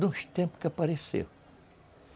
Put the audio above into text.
De uns tempos que apareceu.